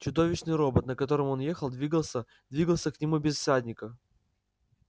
чудовищный робот на котором он ехал двигался двигался к нему без всадника